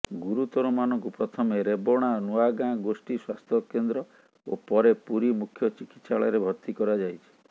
ଗୁରୁତରମାନଙ୍କୁ ପ୍ରଥମେ ରେବଣା ନୂଆଗାଁ ଗୋଷ୍ଠୀ ସ୍ବାସ୍ଥ୍ୟକେନ୍ଦ୍ର ଓ ପରେ ପୁରୀ ମୁଖ୍ୟ ଚିକିତ୍ସାଳରେ ଭର୍ତ୍ତି କରାଯାଇଛି